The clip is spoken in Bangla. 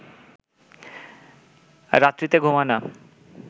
রাত্রিতে ঘুম হয় না